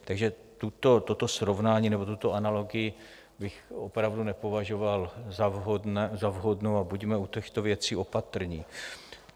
Takže toto srovnání nebo tuto analogii bych opravdu nepovažoval za vhodnou a buďme u těchto věcí opatrní.